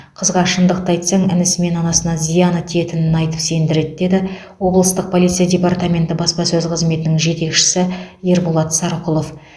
қызға шындықты айтсаң інісі мен анасына зияны тиетінін айтып сендіреді деді облыстық полиция департаменті баспасөз қызметінің жетекшісі ерболат сарқұлов